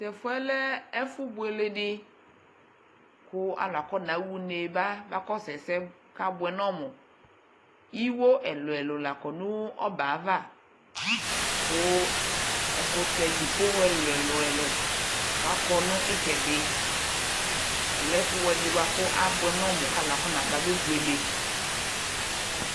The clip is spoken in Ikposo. Tʋ ɛfʋ yɛ lɛ ɛfʋbuele dɩ kʋ alʋ akɔɣa une ba bakɔsʋ ɛsɛ kʋ abʋɛ nʋ ɔmʋ Iwo ɛlʋ-ɛlʋ labkɔ nʋ ɔbɛ yɛ ava kʋ ɛkʋtɛ dzipoɣɔ ɛlʋ-ɛlʋ kʋ akɔ nʋ ɩtsɛdɩ Ɔlɛ ɛfʋbʋɛ dɩ bʋa kʋ abʋɛ nʋ ɔmʋ kʋ alʋ anaba bebuele